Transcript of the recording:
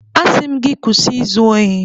Asị m gị kwụsị izu ohi!